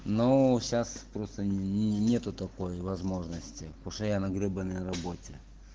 ну сейчас просто нет такой возможности постоянно грибы на работе